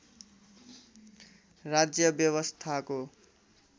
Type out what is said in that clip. राज्य व्यवस्थाको